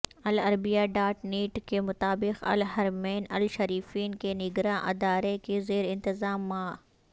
العربیہ dot net کے مطابق الحرمین الشریفین کے نگراں ادارے کے زیر انتظام ماء